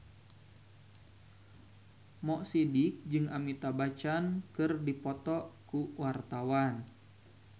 Mo Sidik jeung Amitabh Bachchan keur dipoto ku wartawan